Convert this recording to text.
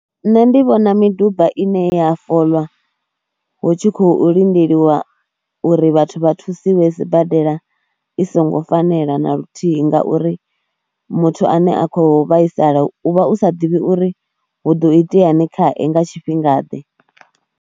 Nṋe ndi vhona miduba ine ya folwa hu tshi khou lindelwa uri vhathu vha thusiwe sibadela i songo fanela na luthihi ngauri muthu ane a khou vhaisala u vha u sa ḓivhi uri hu ḓo iteani khae nga tshifhingaḓe.